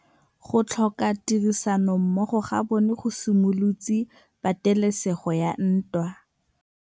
Go tlhoka tirsanommogo ga bone go simolotse patêlêsêgô ya ntwa.